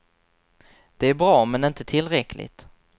Det är bra, men inte tillräckligt.